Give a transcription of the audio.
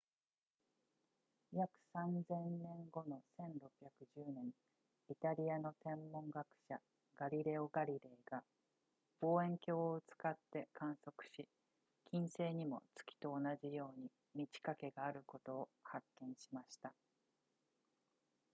約 3,000 年後の1610年イタリアの天文学者ガリレオガリレイが望遠鏡を使って観測し金星にも月と同じように満ち欠けがあることを発見しました